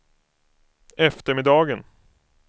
eftermiddagen